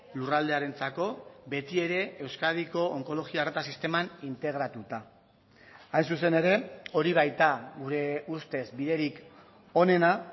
lurraldearentzako beti ere euskadiko onkologia arreta sisteman integratuta hain zuzen ere hori baita gure ustez biderik onena